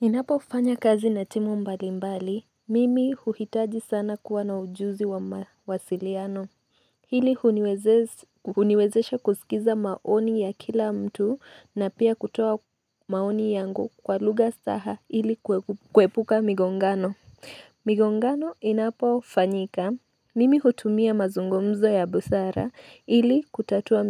Ninapo fanya kazi na timu mbali mbali. Mimi huhitaji sana kuwa na ujuzi wa mawasiliano. Hili uniwezesha kusikiza maoni ya kila mtu na pia kutoa maoni yangu kwa lugha staha ili kuepuka migongano. Migongano inapo fanyika mimi hutumia mazungumzo ya busara ili kutatua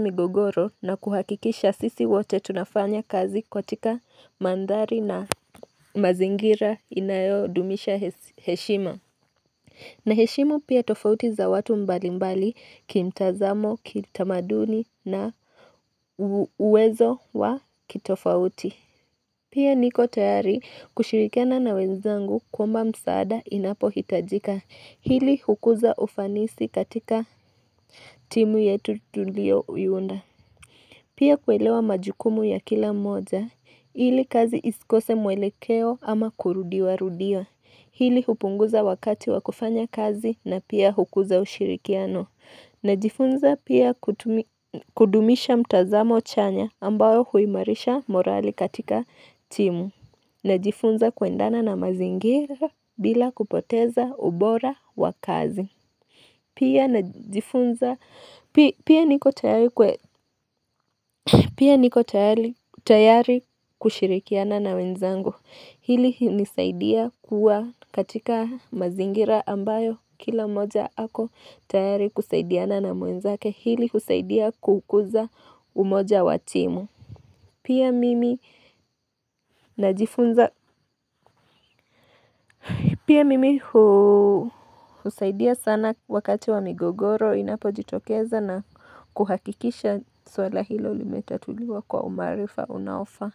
migogoro na kuhakikisha sisi wote tunafanya kazi katika mandhari na mazingira inayodumisha heshima na heshimu pia tofauti za watu mbali mbali kimtazamo, kitamaduni na uwezo wa kitofauti Pia niko tayari kushirikiana na wenzangu kuomba msaada inapo hitajika hili hukuza ufanisi katika timu yetu tulioiunda Pia kuelewa majukumu ya kila mmoja hili kazi isikose mwelekeo ama kurudiwa rudia hili hupunguza wakati wa kufanya kazi na pia hukuza ushirikiano na jifunza pia kudumisha mtazamo chanya ambayo huimarisha morali katika timu Najifunza kuendana na mazingira bila kupoteza ubora wa kazi Pia niko tayari kushirikiana na wenzangu Hili inisaidia kuwa katika mazingira ambayo kila moja hako tayari kusaidiana na mwenzake hili husaidia kukuza umoja watimu Pia mimi najifunza Pia mimi husaidia sana wakati wa migogoro inapo jitokeza na kuhakikisha suala hilo li metatuliwa kwa umaarifa unaofaa.